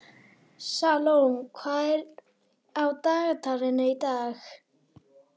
Salome, hvað er á dagatalinu í dag?